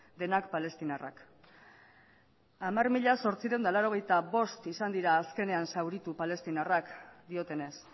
denak palestinarrak hamar mila zortziehun eta laurogeita bost izan dira azkenean zauritu palestinarrak diotenez